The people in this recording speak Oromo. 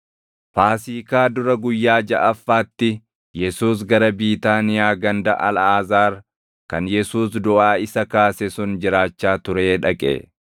Faasiikaa dura guyyaa jaʼaffaatti Yesuus gara Biitaaniyaa ganda Alʼaazaar, kan Yesuus duʼaa isa kaase sun jiraachaa turee dhaqe.